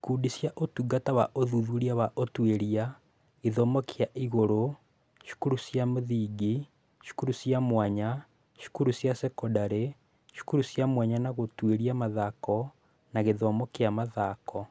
Ikundi cia ũtungata wa ũthuthuria wa ũtuĩria, gĩthomo kĩa igũrũ, cukuru cia mũthingi, cukuru cia mwanya, cukuru cia sekondarĩ, cukuru cia mwanya na gũtũũria mathako na gĩthomo kĩa mathako.